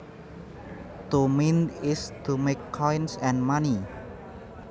To mint is to make coins and money